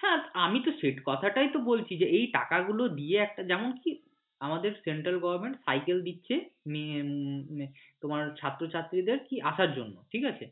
হ্যাঁ আমি তো সেই কথাটাই তো বলছি এই টাকা গুলো দিয়ে একটা যেমন আমাদের central government সাইকেল দিচ্ছে হম তোমার ছাত্রছাত্রীদের কি আসার জন্য ঠিক আছে